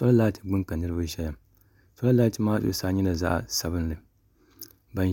soli laati gbuni ka niraba ʒɛya soli laati maa